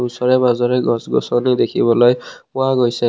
ওচৰে পাজৰে গছ-গছনি দেখিবলৈ পোৱা গৈছিল।